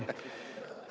Või on?